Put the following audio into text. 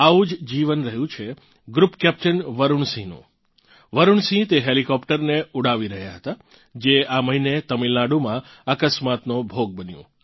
આવું જ જીવન રહ્યું છે ગ્રૃપ કેપ્ટન વરુણ સિંહનું વરુણ સિંહ તે હેલીકોપ્ટરને ઊડાવી રહ્યાં હતાં જે આ મહિને તમિલનાડુમાં અકસ્માતનો ભોગ બન્યું